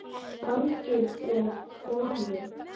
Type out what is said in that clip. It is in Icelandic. Baldur og Konni